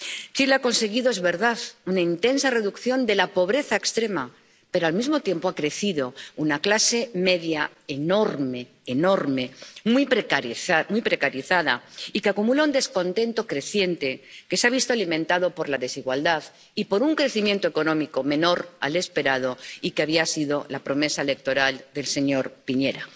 Chile ha conseguido —es verdad— una intensa reducción de la pobreza extrema, pero, al mismo tiempo, ha crecido una clase media enorme —enorme—, muy precarizada y que acumula un descontento creciente, que se ha visto alimentado por la desigualdad y por un crecimiento económico menor del esperado y que había sido la promesa electoral del señor Piñera.